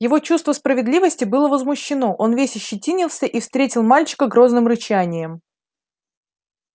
его чувство справедливости было возмущено он весь ощетинился и встретил мальчика грозным рычанием